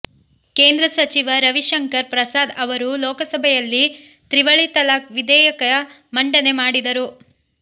ಕೇಂದ್ರ ಸಚಿವ ರವಿ ಶಂಕರ್ ಪ್ರಸಾದ್ ಅವರು ಲೋಕಸಭೆಯಲ್ಲಿ ತ್ರಿವಳಿ ತಲಾಕ್ ವಿಧೇಯಕ ಮಂಡನೆ ಮಾಡಿದರು